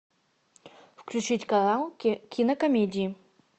включить канал кинокомедии